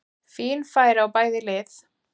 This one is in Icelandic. Fín færi á bæði lið!